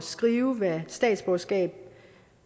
skrive hvad statsborgerskab